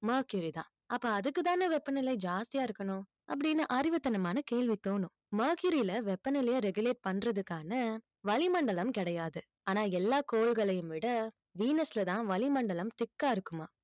mercury தான் அப்ப அதுக்குதானே வெப்பநிலை ஜாஸ்தியா இருக்கணும் அப்படின்னு அறிவுத்தனமான கேள்வி தோணும் mercury ல வெப்பநிலையை regulate பண்றதுக்கான வளிமண்டலம் கிடையாது ஆனா எல்லா கோள்களையும் விட venus லதான் வளிமண்டலம் thick ஆ இருக்குமாம்